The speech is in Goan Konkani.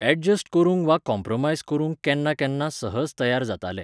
एडजस्ट करूंक वा कोंप्रमायज करूंक केन्ना केन्ना सहज तयार जाताले.